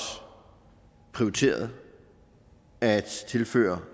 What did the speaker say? prioriteret at tilføre